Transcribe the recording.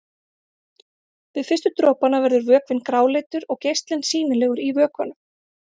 Við fyrstu dropana verður vökvinn gráleitur og geislinn sýnilegur í vökvanum.